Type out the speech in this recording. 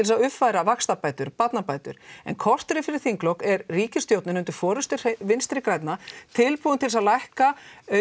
að uppfæra vaxtabætur barnabætur en korteri fyrir þinglok er ríkisstjórnin undir forystu Vinstri grænna tilbúin til að lækka